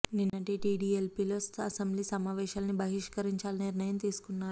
నిన్నటి టీడీఎల్పీ లో అసెంబ్లీ సమావేశాల్ని బహిష్కరించాలని నిర్ణయం తీసుకున్నారు